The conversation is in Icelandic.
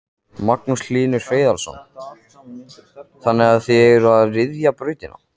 Magnús Hlynur Hreiðarsson: Þannig að þið eruð að ryðja brautina?